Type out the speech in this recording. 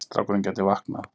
Strákurinn gæti vaknað.